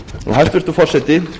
hæstvirtur forseti